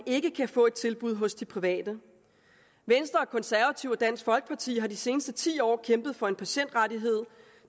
ikke kan få et tilbud hos de private venstre konservative og dansk folkeparti har de seneste ti år kæmpet for en patientrettighed